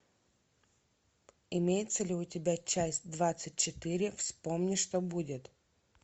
имеется ли у тебя часть двадцать четыре вспомни что будет